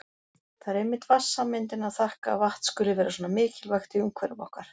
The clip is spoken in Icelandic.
Það er einmitt vatnssameindinni að þakka að vatn skuli vera svona mikilvægt í umhverfi okkar.